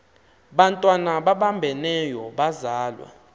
bantwana babambeneyo bazalwa